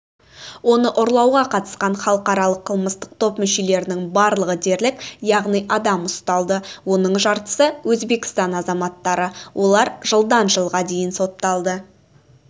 оны ұрлауға қатысқан халықаралық қылмыстық топ мүшелерінің барлығы дерлік яғни адам ұсталды оның жартысы өзбекстан азаматтары олар жылдан жылға дейін сотталды